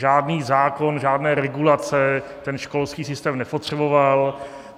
Žádný zákon, žádné regulace ten školský systém nepotřeboval.